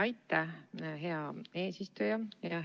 Aitäh, hea eesistuja!